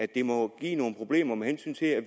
det må give nogle problemer med hensyn til at